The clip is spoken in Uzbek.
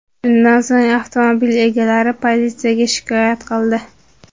Shundan so‘ng, avtomobil egalari politsiyaga shikoyat qildi.